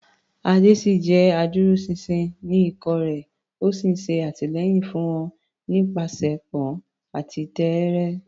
Ade ṣì jẹ́ adúróṣinṣin sí ikọ̀ rẹ̀, ó ń ṣe àtìlẹ́yìn fún wọn nípasẹ̀pọn àti tẹ́ẹ́rẹ́.